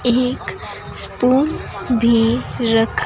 एक स्पून भी रखा--